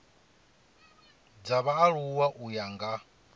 dza vhaaluwa u ya nga